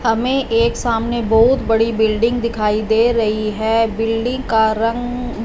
हमे एक सामने बहुत बड़ी बिल्डिंग दिखाई दे रही है बिल्डिंग का रंग--